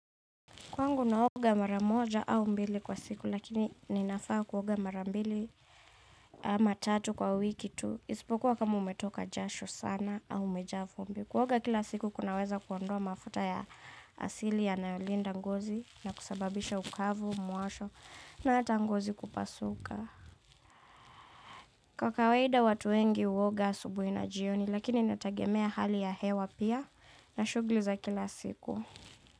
Kwangu naoga mara moja au mbili kwa siku lakini ninafaa kuoga mara mbili ama tatu kwa wiki tu. Isipokuwa kama umetoka jasho sana au umejaa vumbi. Kuoga kila siku kunaweza kuondoa mafuta ya asili yanayolinda ngozi na kusababisha ukavu, mwasho na hata ngozi kupasuka. Kwa kawaida watu wengi huoga asubuhi na jioni lakini inategemea hali ya hewa pia na shughuli za kila siku.